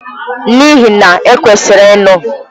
N'ihi na! E kwesịrị ịnụ.